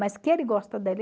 Mas que ele gosta